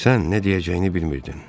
Sən nə deyəcəyini bilmirdin.